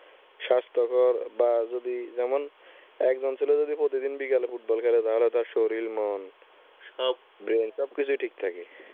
স্বাস্থ্যকর বা যদি যেমন এক জন ছেলে যদি প্রতিদিন বিকালে football খেলে তাহলে তার শরীর মন সবকিছুই ঠিক থাকে।